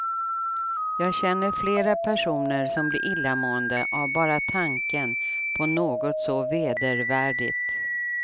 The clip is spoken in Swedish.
Jag känner flera personer som blir illamående av bara tanken på något så vedervärdigt.